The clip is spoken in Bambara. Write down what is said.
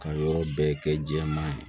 Ka yɔrɔ bɛɛ kɛ jɛman ye